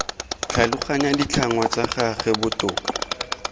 tlhaloganya ditlhangwa tsa gagwe botoka